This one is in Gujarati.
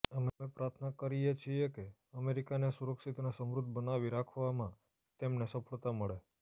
અમે પ્રાર્થના કરીએ છીએ કે અમેરિકાને સુરક્ષિત અને સમૃદ્ધ બનાવી રાખવામાં તેમને સફળતા મળે